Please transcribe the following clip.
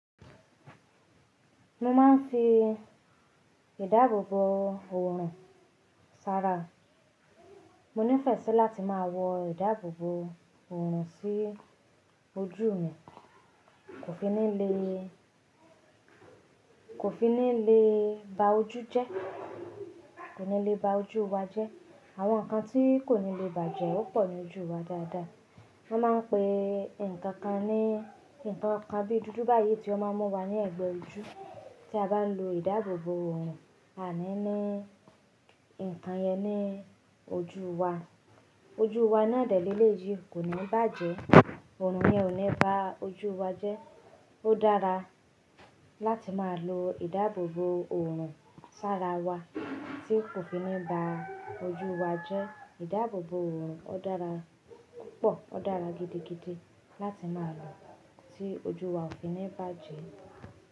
Mo máa ń fi ìdábòbò òòrùn ṣára. Mo nífẹ̀ẹ́ sí láti máa wọ ìdábòbò òòrùn sí ojú mi, kò fi ní lè, kò fi ní lè bá ojú jẹ́. Kò ní lè bá ojú wa jẹ́. Àwọn nǹkan tí kò ní lè bàjẹ́, ó pọ̀ ní ojú wa dáadáa. Wọ́n máa ń pe nǹkan ta ní nǹkan kan bí i dúdú báyii tí ó máa mú wa ní ẹ̀gbẹ́ ojú tí a bá lo ìdábòbò òòrùn, à ní ní nǹkan yẹn ní ojú wa. Ojú wa nà dẹ́lẹ́lẹ́ yí, kò ní bàjẹ́, òòrùn yẹn ò ní bá ojú wa jẹ́. Ó dára láti máa lo ìdábòbò òòrùn ṣára wa tí kò fi ní bá ojú wa jẹ́. Ìdábòbò òòrùn ó dára púpọ̀, ó dára gidigidi láti máa lò ọ tí ojú wa ò fi ní bàjẹ́.